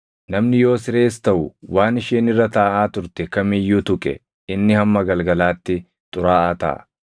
Namni yoo sirees taʼu waan isheen irra taaʼaa turte kam iyyuu tuqe inni hamma galgalaatti xuraaʼaa taʼa.